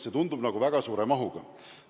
See tundub väga suure mahuna.